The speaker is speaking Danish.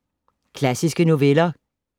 Klassiske noveller